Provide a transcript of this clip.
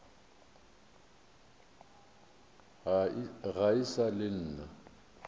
ga e sa le nna